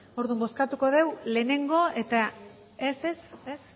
orduan bozkatu dugu lehenengo eta ez ez a